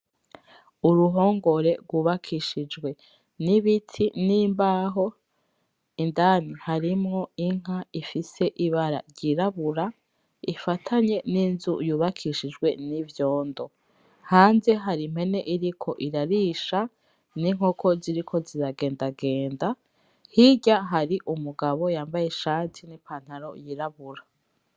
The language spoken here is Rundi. Uruhongore rw'ubakishijwe n'ibiti, n'imbaho indani harimwo inka ifise ibara ry'irabura ifatanye n'inzu yubakishijwe n'ivyondo, hanze hari impene iriko irarisha, n'inkoko ziriko ziragendagenda hirya hari umugabo yambaye ishati, n'ipantalo y'irabura.